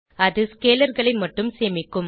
அது scalarகளை மட்டும் சேமிக்கும்